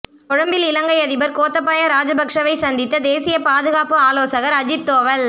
கொழும்பில் இலங்கை அதிபா் கோத்தபய ராஜபட்சவை சந்தித்த தேசிய பாதுகாப்பு ஆலோசகா் அஜித் தோவல்